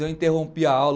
Eu interrompi a aula.